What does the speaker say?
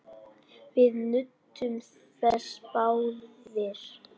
Við nutum þess báðir.